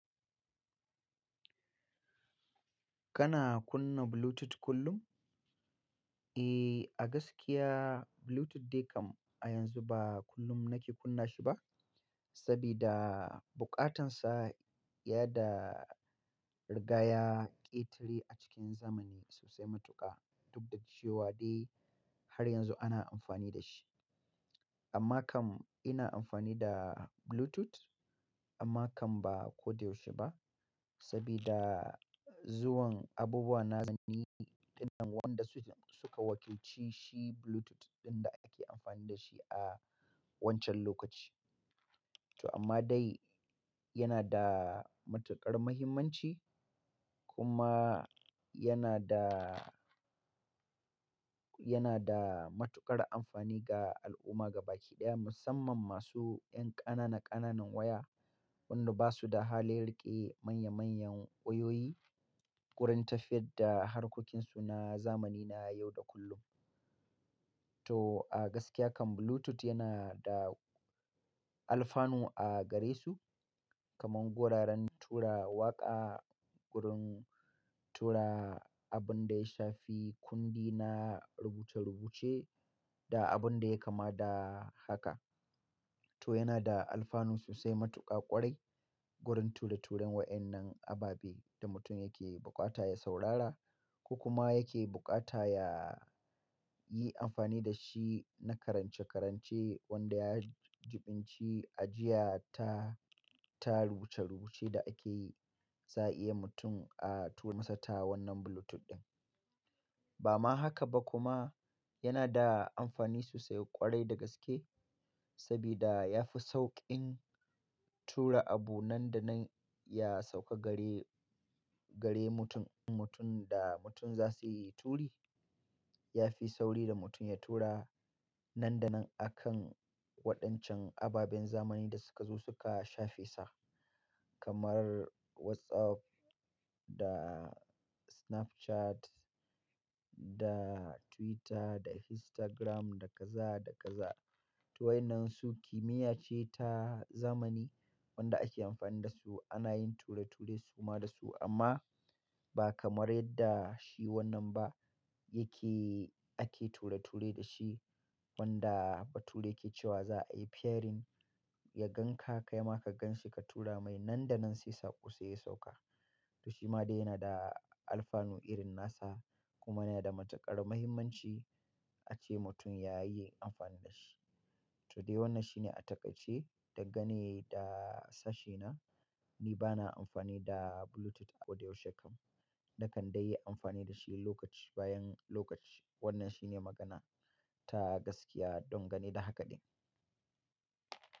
Kana kunna Bluetooth kullum? Eh, a gaskiya Bluetooth dai kam a yanzu ba kullum nake kunna shi ba, sabida bukatansa ya da rigaya ƙetare a cikin zamani sosai matuƙa. Duk da cewa dai har yanzu ana amfani da shi. Amma kam ina amfani da Bluetooth, amma kam ba koda yaushe ba sabida zuwan abubuwa nazani ɗinnan wanda su suka wakilci shi Bluetooth ɗin da ake amfani da shi a wancan lokaci. To amma dai yana da matuƙar muhimmanci kuma yana da, yana da matuƙar amfani ga al'umma gaba ki ɗaya musamman masu ƴan ƙanana ƙananan waya wanda ba su da halin riƙe manya manyan wayoyi, wurin tafiyar da harkokinsu na zamani na yau da kullum. To a gaskiya kam Bluetooth yana da alfanu a gare su kamar guraren tura waƙa, gurin tura abun da ya shafi kundi na rubuce rubuce da abun da ya kama da haka. To yana da alfanu sosai matuƙa ƙwarai gurin ture turen waƴannan ababe da mutum yake buƙata ya saurara, ko kuma yake buƙata ya yi amfani da shi na karance karance wanda ya jiɓinci ajiya ta, ta rubuce rubuce da ake yi, za a iya mutum a tura masa ta wannan Bluetooth ɗin. Ba ma haka ba kuma yana da amfani sosai ƙwarai da gaske sabida ya fi sauƙin tura abu nan da nan ya sauka gare, gare mutum, mutum da mutum za su yi turi. Ya fi sauri da mutum ya tura nan da nan a kan waɗancan ababen zamani da suka zo suka shafi sa. Kamar WhatsApp, da Snapchat, da Twitter, da Instagram, da kaza da kaza. Toh waƴnnansu kimiyya ce ta zamani wanda ake amfani da su ana yin ture ture suma da su amma ba kamar yadda shi wannan ba yake ake ture ture da shi. Wanda bature yake cewa za a yi pairing, ya gan ka kai ma ka gan shi ka tura mai nan da nan sai saƙo sai ya sauƙa. Toh shi ma dai yana da alfanu irin nasa, kuma yana da matuƙar muhimmanci ace mutum ya yi amfani da shi. Toh dai wannan shi ne a taƙaice dangane da sashena. Ni ba na amfani da Bluetooth koh da yaushe kam, na kan dai yi amfani da shi lokaci bayan lokaci. Wannan shine magana ta gaskiya don gane da hakaɗin.